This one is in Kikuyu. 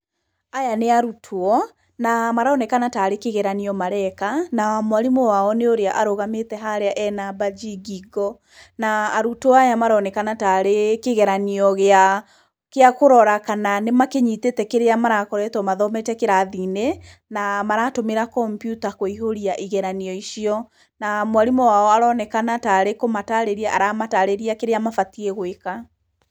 Aya nĩ arutwo na maronekana ta rĩ kĩgeranio mareka. Na mwarimũ wao nĩ ũrĩa arũgamĩte harĩa ena mbanji ngingo. Na arutwo aya maroneka ta rĩ kĩgeranio gĩa kũrora kana nĩmanyitĩte kĩrĩa marakoretwo mathomete kĩrathi-inĩ na maratũmĩra kompiuta kũihũria igeranio icio. Na mwarimũ wao aroneka ta arĩ kũmatarĩria aramatarĩria kĩrĩa mabatiĩ gwĩka.